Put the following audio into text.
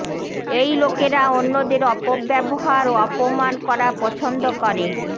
এই লোকেরা অন্যদের অপব্যবহার ও অপমান করা পছন্দ করে